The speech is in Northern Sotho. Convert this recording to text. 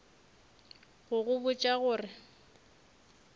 go go botša go re